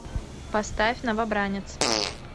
поставь новобранец